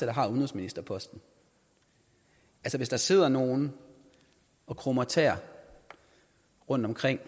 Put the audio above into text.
har udenrigsministerposten hvis der sidder nogle og krummer tæer rundtomkring